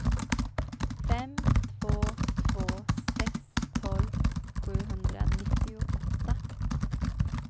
fem två två sex tolv sjuhundranittioåtta